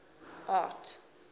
art